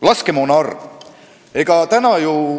Laskemoona hulk.